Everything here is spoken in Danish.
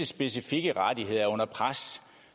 specifikke rettigheder er under pres